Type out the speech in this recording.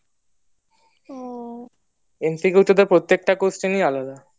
MCQ তোদের প্রত্যেকটা question এই আলাদা